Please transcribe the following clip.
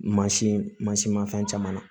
Mansin mansin ma fɛn caman na